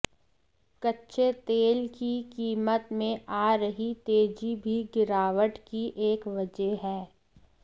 कच्चे तेल की कीमत में आ रही तेजी भी गिरावट की एक वजह है